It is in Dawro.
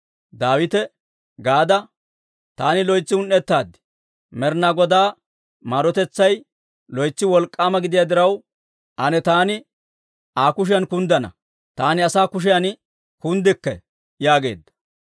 Daawite Gaada, «Taani loytsi un"ettaad. Med'inaa Godaa maarotetsay loytsi wolk'k'aama gidiyaa diraw, ane taani Aa kushiyan kunddana; taani asaa kushiyan kunddikke» yaageedda.